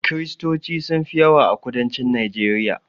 Kristoci sun fi yawa a kudancin najeriya